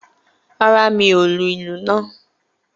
Rárá, mi ò lu ìlú náà